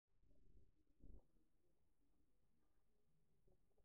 ore enkiremore embukokinoto enkare naa keitaa kiti ilameitin